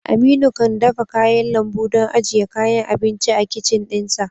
Aminu kan dafa kayan lambu don ajiye kayan abinci a kicin ɗinsa